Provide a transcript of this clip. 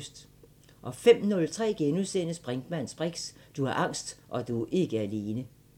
05:03: Brinkmanns briks: Du har angst, og du er ikke alene! *